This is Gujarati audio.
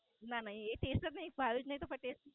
ના ના. એ તો ચીઝ ભાવે નય જ તો પછી?